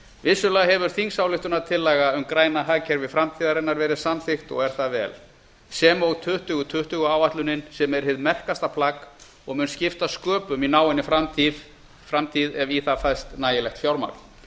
vissulega hefur þingsályktunartillaga um græna hagkerfi framtíðarinnar verið samþykkt og er það vel sem og tuttugu tuttugu áætlunin sem er hið merkasta plagg og mun skipta sköpum í náinni framtíð ef í það fæst nægilegt fjármagn